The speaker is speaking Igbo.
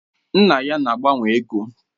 Nna ya na agbanwe ego.